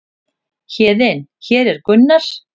Héðinn: Hér er Gunnar.